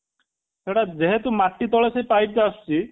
ସେଇଟା ଯେହେତୁ ମାଟି ତଳେ ସେଇ ପାଇପ ଟା ଆସୁଛି